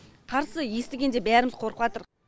қарсы естігенде бәріміз қорқыватырық